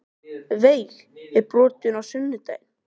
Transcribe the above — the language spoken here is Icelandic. Veig, er bolti á sunnudaginn?